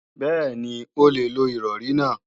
Bẹ́ẹ̀ni, o lè lo Ìrọ̀rí náà